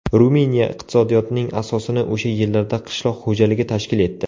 Ruminiya iqtisodiyotining asosini o‘sha yillarda qishloq xo‘jaligi tashkil etdi.